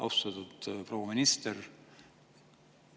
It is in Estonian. Austatud proua minister!